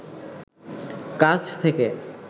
কাছ থেকে